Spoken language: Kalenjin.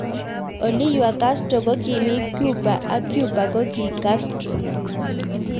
Oliywa Castro kokimi Cuba ak Cuba koki Castro.